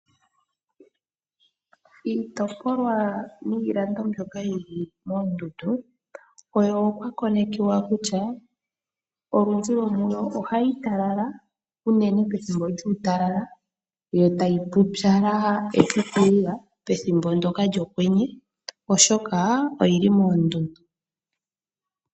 Iitopolwa niilando mbyoka yili moondundu oyo okwa konekiwa kutya olundji yomuyo ohayi talala unene pethimbo lyuutalala yo tayi pupyala epitilila pethimbo ndyoka lyokwenye , oshoka oyili moondundu.